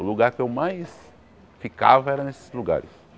O lugar que eu mais ficava era nesses lugares.